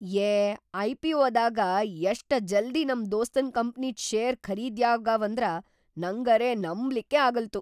ಯೇ ಐ.ಪಿ.ಒ.ದಾಗ ಯಷ್ಟ ಜಲ್ದೀ ನಂ ದೋಸ್ತನ್‌ ಕಂಪ್ನಿದ್‌ ಶೇರ್‌ ಖರೀದ್ಯಾಗ್ಯಾವಂದ್ರ ನಂಗರೆ ನಂಬ್ಲಿಕ್ಕೇ ಆಗಲ್ತು.